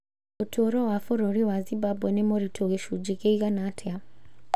Ũtũũro wa bũrũri wa Zimbabwe nĩ mũritũ gĩcunjĩ kĩigana atĩa?